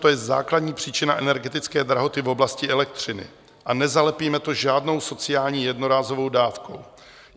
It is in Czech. To je základní příčina energetické drahoty v oblasti elektřiny a nezalepíme to žádnou sociální jednorázovou dávkou.